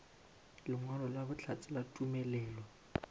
lengwalo la bohlatse la tumelelo